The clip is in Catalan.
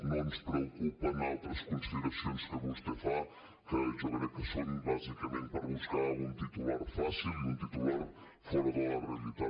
no ens preocupen altres consideracions que vostè fa que jo crec que són bàsicament per buscar un titular fàcil i un titular fora de la realitat